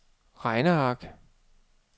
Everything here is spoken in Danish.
regneark